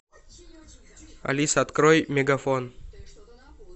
алиса открой мегафон